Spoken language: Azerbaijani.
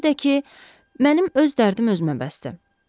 Bir də ki, mənim öz dərdim özümə bəsdir.